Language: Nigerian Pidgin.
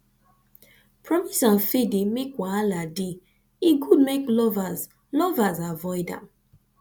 promise and fail dey make wahala dey e good make lovers lovers avoid am